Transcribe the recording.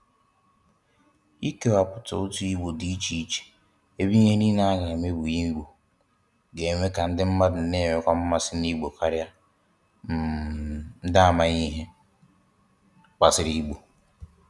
Ikewapụta otu Igbo dị iche iche ebe ihe niile a ga-eme bụ n'Igbo, ga-eme ka ndị mmadụ nwewekwa mmasị n'Igbo karịa um ndị amaghị ihe gbasara Igbo